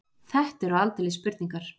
Þetta eru aldeilis spurningar.